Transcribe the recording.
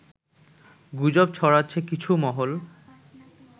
গুজব ছড়াচ্ছে কিছু মহল